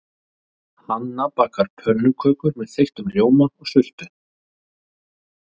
Hanna bakar pönnukökur með þeyttum rjóma og sultu.